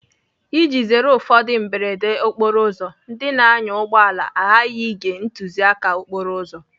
Iji zere ụfọdụ mberede okporoụzọ, ndị na-anya ụgbọala aghaghị ige ntụziaka okporo ụzọ.